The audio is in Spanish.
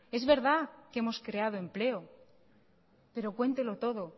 es verdad que hemos creado empleo pero cuéntelo todo